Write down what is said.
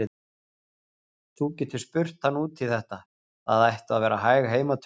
Þú getur spurt hann út í þetta, það ættu að vera hæg heimatökin.